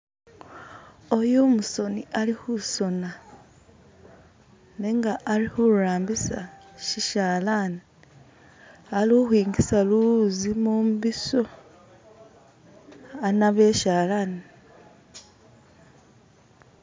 Uyu umusoni ali khusona nenga ali khurambisa sishalani, alukhwingisa luwuzi mumbiso anabe e'shalani.